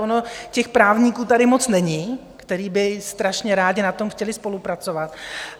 Ono těch právníků tady moc není, kteří by strašně rádi na tom chtěli spolupracovat.